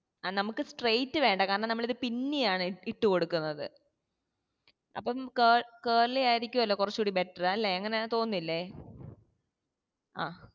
ആ നമ്മക്ക് straight വേണ്ട കാരണം നമ്മളത് pin ഇ ആണ് ഇട്ടുകൊടുക്കുന്നത് അപ്പം കേ curley ആയിരിക്കുവല്ലോ കുറച്ചൂടി better അല്ലെ അങ്ങനെ തോന്നുന്നില്ലേ